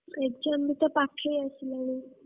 exam ବି ତ ପାଖେଇ ଆସିଲାଣି।